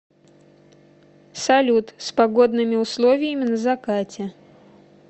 салют с погодными условиями на закате